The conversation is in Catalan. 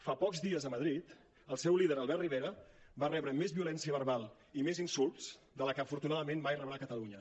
fa pocs dies a madrid el seu líder albert rivera va rebre més violència verbal i més insults de la que afortunadament mai rebrà a catalunya